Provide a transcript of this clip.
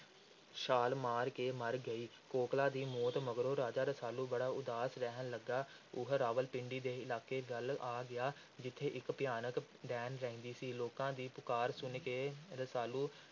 ਛਾਲ ਮਾਰ ਕੇ ਮਰ ਗਈ ਕੋਕਲਾਂ ਦੀ ਮੌਤ ਮਗਰੋਂ ਰਾਜਾ ਰਸਾਲੂ ਬੜਾ ਉਦਾਸ ਰਹਿਣ ਲੱਗਾ। ਉਹ ਰਾਵਲਪਿੰਡੀ ਦੇ ਇਲਾਕੇ ਵੱਲ ਆ ਗਿਆ, ਜਿੱਥੇ ਇਕ ਭਿਆਨਕ ਡੈਣ ਰਹਿੰਦੀ ਸੀ। ਲੋਕਾਂ ਦੀ ਪੁਕਾਰ ਸੁਣ ਕੇ ਰਸਾਲੂ